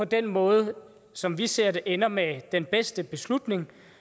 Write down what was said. den måde som vi ser det ender med den bedste beslutning